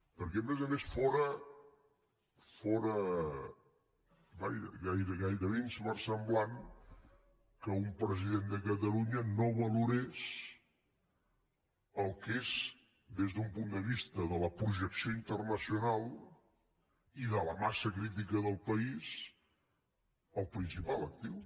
perquè a més a més fóra gairebé inversemblant que un president de catalunya no valorés el que és des d’un punt de vista de la projecció internacional i de la massa crítica del país el principal actiu